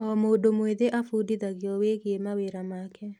O mũndũ mwĩthĩ abundithagio wĩgie mawĩra make.